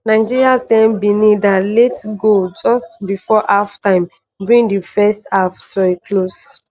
nigeria 1-0 benin dat late goal just before half-time bring di first half to a close.